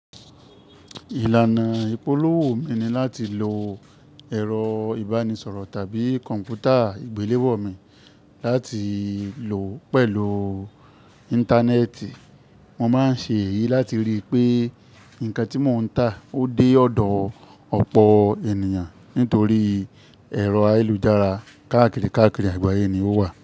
Ìlànà ìpolówó mi ni láti lo ẹ̀rọ ìbánisọ̀rọ̀ tàbí kọ̀npútà ìgbéléwọ́ mi láti lò pẹ̀lú Íńtánẹ́ẹ̀tì. Mo máa ń ṣe èyí láti rí i pé nǹkan tí mò ń tà ó dé ọ̀dọ̀ ọ̀pọ̀ ènìyàn nítorí ẹ̀rọ ayélujára káàkiri àgbáyé ni ó wà.